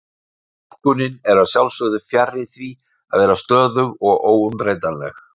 Túlkunin er að sjálfsögðu fjarri því að vera stöðug og óumbreytanleg.